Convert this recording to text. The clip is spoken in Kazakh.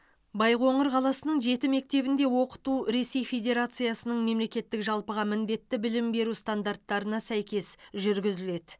байқоңыр қаласының жеті мектебінде оқыту ресей федерациясының мемлекеттік жалпыға міндетті білім беру стандарттарына сәйкес жүргізіледі